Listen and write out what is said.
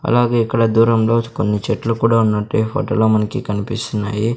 అలాగే ఇక్కడ దూరంలో కొన్ని చెట్లు కూడా ఉన్నట్టు ఈ ఫొటో లో మనకి కనిపిస్తున్నాయి.